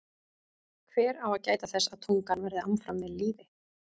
Hver á að gæta þess að tungan verði áfram við lýði?